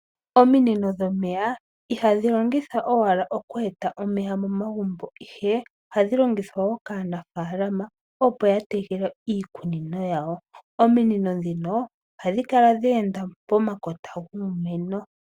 Ominino dhomeya ihadhi longithwa owala oku eta omeya momagumbo, ihe ohadhi longithwa woo kaanafalama opo yatekele iikunino yawo. Ominino ndhino ohadhi kala dheenda pomakota guumeno.